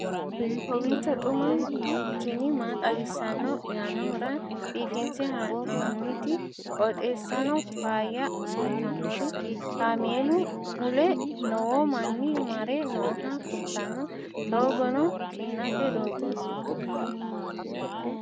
kowiicho xuma mtini maa xawissanno yaannohura biifinse haa'noonniti qooxeessano faayya kultannori kaameelu mule lowo manni mare nooha kultanno doogono kinate doogooti